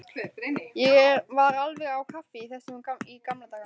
Ég var alveg á kafi í þessu í gamla daga.